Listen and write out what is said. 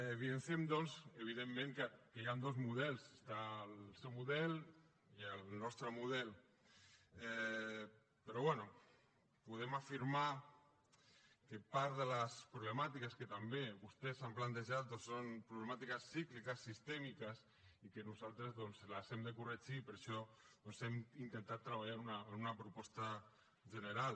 evidenciem doncs evidentment que hi han dos models hi ha el seu model i el nostre model però bé podem afirmar que part de les problemàtiques que també vostès han plantejat o són problemàtiques cícliques sistèmiques i que nosaltres doncs les hem de corregir per això doncs hem intentat treballar en una proposta general